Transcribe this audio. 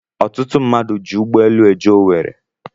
Ọtụtụ mmadụ ji ụgbọelu eje Owerri